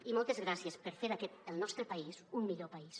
i moltes gràcies per fer d’aquest el nostre país un millor país